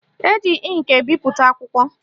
Eji ịnkị ebipụta akwụkwọ